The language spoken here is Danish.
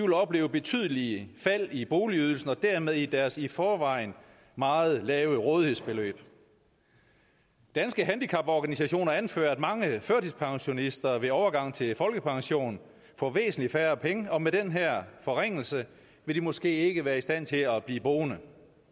vil opleve betydelige fald i boligydelsen og dermed i deres i forvejen meget lave rådighedsbeløb danske handicaporganisationer anfører at mange førtidspensionister ved overgangen til folkepension får væsentlig færre penge og med den her forringelse vil de måske ikke være i stand til at blive boende